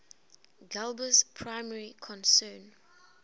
galba's primary concern